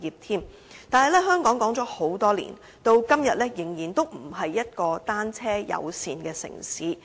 但是，香港說了很多年，時至今天仍然不是一個單車友善的城市。